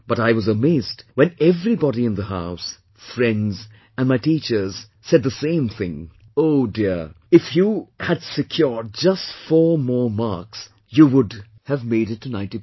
But I was amazed when everybody in the house, friends and my teachers said the same thing, "Oh Dear, if your had secured just 4 more marks, you would have made it to 90%"